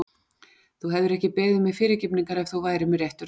Þú hefðir ekki beðið mig fyrirgefningar ef þú værir með réttu ráði.